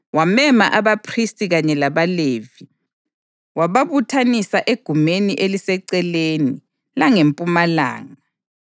Wamema abaphristi kanye labaLevi, wababuthanisa egumeni eliseceleni langempumalanga